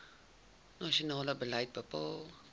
nasionale beleid bepaal